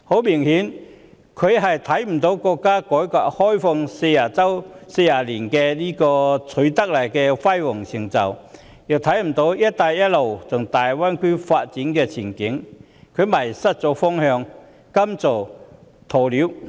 明顯地，他看不到國家改革開放40年所取得的輝煌成就，亦看不到"一帶一路"和大灣區的發展前景，因而迷失了方向，甘心做鴕鳥。